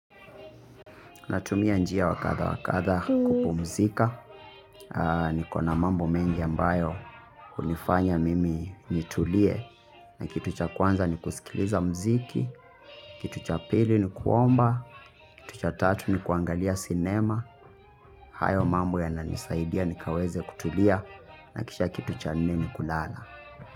Natumia njia wakadha wakadha kupumzika, niko na mambo mengi ambayo hunifanya mimi nitulie, na kitu cha kwanza ni kusikiliza mziki, kitu cha pili ni kuomba, kitu cha tatu ni kuangalia sinema, hayo mambo yana nisaidia nikaweze kutulia, na kisha kitu cha nini kulala.